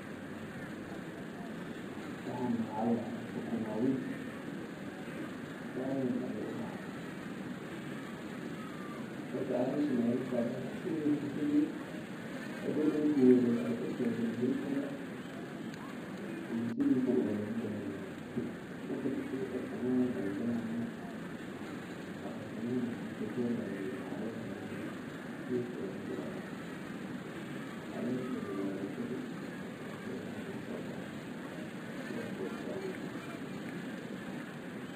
Waxani waxaa ladahaa sukuma wiki saan ayuu ubaxaa cagashan ayaa lagaliyaa hadoow markuu weynado dulka ayaa lagaliyaa mise sidan ayaa lagu daaya.